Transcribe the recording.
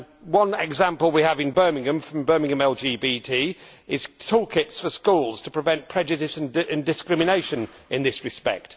One example that we have in Birmingham, from Birmingham LBGT, is toolkits for schools to prevent prejudice and discrimination in this respect.